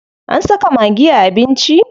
An saka maggi a abinci.